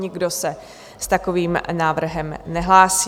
Nikdo se s takovým návrhem nehlásí.